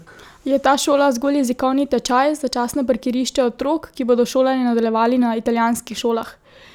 Je ta šola zgolj jezikovni tečaj, začasno parkirišče otrok, ki bodo šolanje nadaljevali na italijanskih šolah?